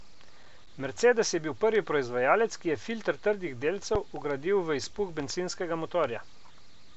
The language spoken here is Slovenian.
Mercedes je bil prvi proizvajalec, ki je filter trdih delcev vgradil v izpuh bencinskega motorja.